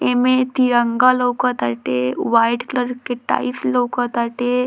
एमए तिरंगा लोक ताटे वाइट कलर के टाइल्स लउक ताटे।